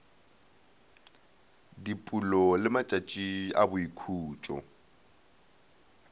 dipulo le matšatšo a boikhutšo